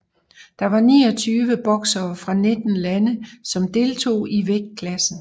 Der var niogtyve boksere fra nitten lande som deltog i vægtklassen